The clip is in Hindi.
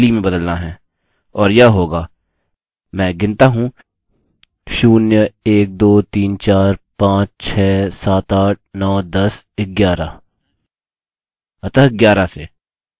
और यह होगा – मैं गिनता हूँ 0 1 2 3 4 5 7 8 9 10 11 अतः 11 से